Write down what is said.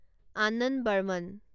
Ananda Varman